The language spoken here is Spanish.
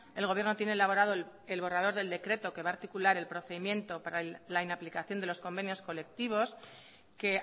el gobierno tiene elaborado el borrador del decreto que va a articular el procedimiento para la inaplicación de los convenios colectivos que